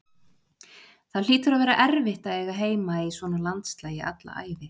Það hlýtur að vera erfitt að eiga heima í svona landslagi alla ævi.